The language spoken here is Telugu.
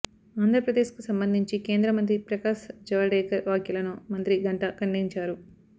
ఆంధ్రప్రదేశ్ కు సంబంధించి కేంద్ర మంత్రి ప్రకాశ్ జవడేకర్ వ్యాఖ్యలను మంత్రి గంటా ఖండించారు